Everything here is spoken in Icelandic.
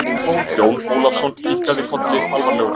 Jón Ólafsson kinkaði kolli alvarlegur.